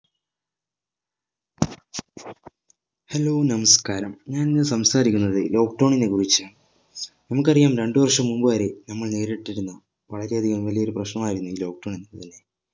hello നമസ്ക്കാരം ഞാൻ ഇന്ന് സംസാരിക്കുന്നത് lockdown നെ കുറിച്ചാ നമുക്ക് അറിയാം രണ്ട് വർഷം മുമ്പ് വരെ നമ്മൾ നേരിട്ടിരുന്ന വളരെ അധികം വലിയ ഒരു പ്രശ്‌നം ആയിരുന്നു ഈ lockdown എന്നത്